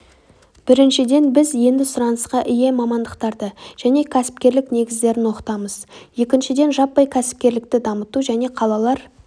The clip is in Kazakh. біріншіден біз енді сұранысқа ие мамандықтарды және кәсіпкерлік негіздерін оқытамыз екіншіден жаппай кәсіпкерлекті дамыту және қалалар